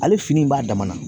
Ale fini in b'a dama na.